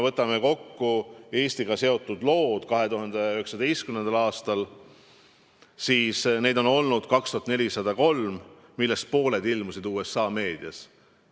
Võtame kokku Eestiga seotud lood 2019. aastal: neid on olnud 2403, millest pooled ilmusid USA meedias.